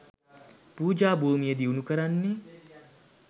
පූජා භූමිය දියුණු කරන්නෙ